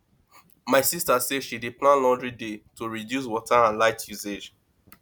my sista say she dey plan laundry day to reduce water and light usage